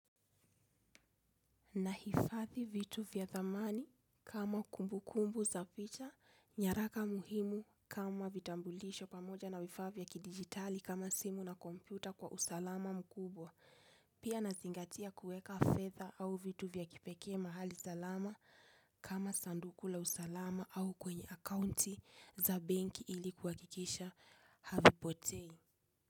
Nahifadhi vitu vya thamani kama kumbukumbu za picha, nyaraka muhimu kama vitambulisho pamoja na vifaa vya kidigitali kama simu na kompyuta kwa usalama mkubwa. Pia nazingatia kueka fedha au vitu vya kipekee mahali salama kama sanduku la usalama au kwenye akaunti za bank ili kuhakikisha havipotei.